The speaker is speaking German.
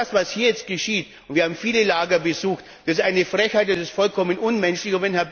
Das, was aber hier jetzt geschieht und wir haben viele Lager besucht das ist eine Frechheit, das ist vollkommen unmenschlich.